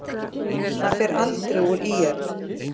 Hann fer aldrei úr ÍR.